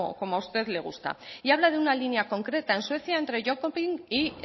como a usted le gusta y habla de una línea concreta en suecia entre y